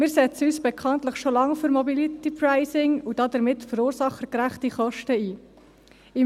Wir setzen uns bekanntlich schon lange für Mobility-Pricing und damit für verursachergerechte Kosten ein.